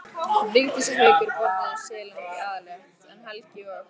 Vigdís og Haukur borðuðu silung í aðalrétt en Helgi og